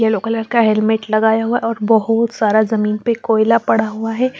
Yellow colour का helmet लगाया हुआ और बहुत सारा जमीन पर कोइला पड़ा हुआ है।